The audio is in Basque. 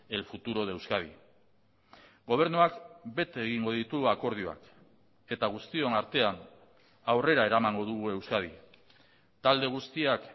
el futuro de euskadi gobernuak bete egingo ditu akordioak eta guztion artean aurrera eramango dugu euskadi talde guztiak